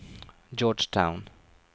Georgetown